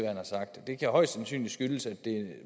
har sagt det kan højst sandsynligt skyldes at